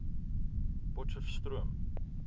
potcheftsroom